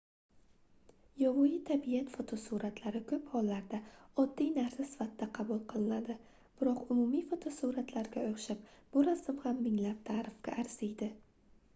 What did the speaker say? yovvoyi tabiat fotosuratlari koʻp hollarda oddiy narsa sifatida qabul qilinadi biroq umumiy fotosuratlarga oʻxshab bu rasm ham minglab taʼrifga arziydi